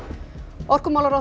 orkumálaráðherra